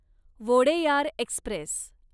Wodeyar Express